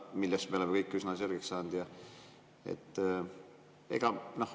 Selle me oleme kõik üsna selgeks saanud.